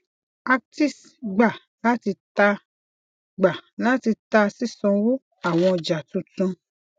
actis gbà láti ta gbà láti ta sisanwo awọn ọja tuntun